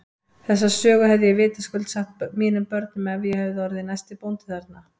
Þessa sögu hefði ég vitaskuld sagt mínum börnum ef ég hefði orðið næsti bóndi þarna.